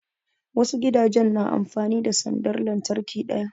Wasu gidajen na amfani da sandar lantarki ɗaya